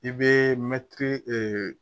I bɛ mɛtiri